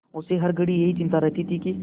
उसे हर घड़ी यही चिंता रहती थी कि